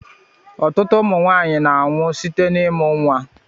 Ụtụtụ ụmụ nwaanyị na-anwụ site n'imụ nwa.